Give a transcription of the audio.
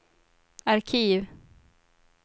arkiv